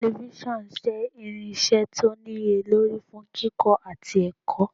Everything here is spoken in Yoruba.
“Tẹlifíṣọ̀n lè jẹ́ irinṣẹ́ tó níye lórí fún kíkọ́ àti ẹ̀kọ́. "